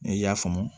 N'i y'a faamu